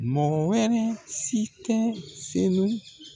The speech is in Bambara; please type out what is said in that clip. Mɔgɔ wɛrɛ si tɛ senu